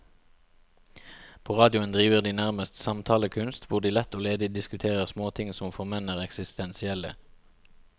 På radioen driver de nærmest samtalekunst, hvor de lett og ledig diskuterer småting som for menn er eksistensielle.